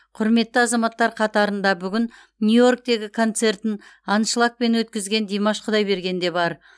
құрметті азаматтар қатарында бүгін нью йорктегі концертін аншлагпен өткізген димаш құдайберген де бар